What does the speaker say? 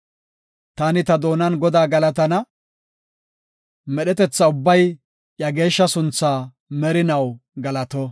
Taani ta doonan Godaa galatana; Medhetetha ubbay iya geeshsha sunthaa merinaw galato!